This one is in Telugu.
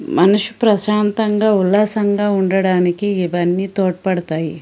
మనసు ప్రశాంతంగా ఉల్లాసంగా ఉండడానికి ఇవన్నీ తోడ్పడతాయి.